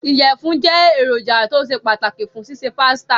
Ìyẹ̀fún jẹ́ èròjà tó ṣe pàtàkì fún ṣíṣe pásítà.